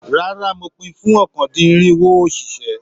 Rárá, mo pin fún ọ̀kan-dín-irinwo òṣìṣẹ́.